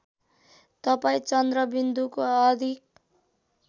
तपाईँ चन्द्रबिन्दुको अधिक